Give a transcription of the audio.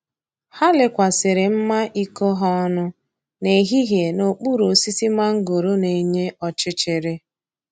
Ha lekwasịrị mma iko ha ọnụ n’ehihie n’okpuru osisi mangoro na-enye ọchịchịrị.